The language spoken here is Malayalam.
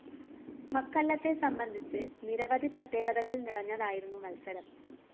മക്കല്ലത്തെ സംബന്ധിച്ച് നിരവധി പ്രത്യേകതകള്‍ നിറഞ്ഞതായിരുന്നു മത്സരം